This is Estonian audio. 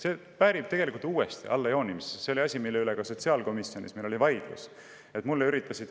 See tegelikult väärib uuesti allajoonimist, sest see oli asi, mille üle meil ka sotsiaalkomisjonis vaidlus oli.